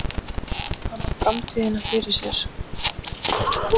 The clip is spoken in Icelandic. Hann á framtíðina fyrir sér.